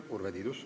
Urve Tiidus.